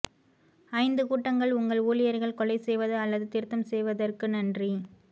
ஐந்து கூட்டங்கள் உங்கள் ஊழியர்கள் கொலை செய்வது அல்லது திருத்தம் செய்வதற்கு நன்றி